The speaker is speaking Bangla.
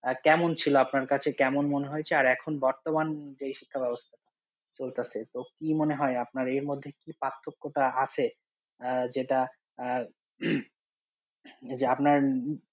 আহ কেমন ছিল, আপনার কাছে কেমন মনে হয়েছে? আর এখন বর্তমান যে শিক্ষা ব্যবস্থা চলতাছে, তো কি মনে হয় আপনার এর মধ্যে কি পার্থক্যটা আছে? আহ যেটা আহ যে আপনার